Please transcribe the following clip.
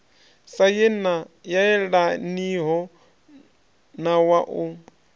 sa yelaniho na wa u